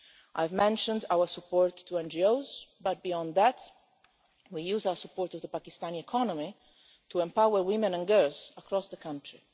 I've mentioned our support for NGOs, but beyond that we use our support for the Pakistani economy to empower women and girls across the country.